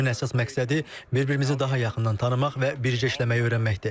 Bu təlimin əsas məqsədi bir-birimizi daha yaxından tanımaq və bircə işləməyi öyrənməkdir.